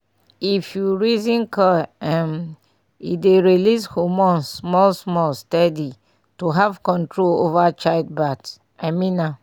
if you reason coil um e dey release hormones small small steady to have control over child birth - i mean am